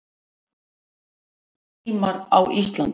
Almenningssímar á Íslandi